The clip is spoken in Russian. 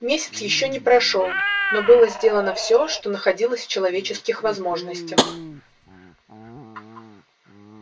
месяц ещё не прошёл но было сделано все что находилось в человеческих возможностях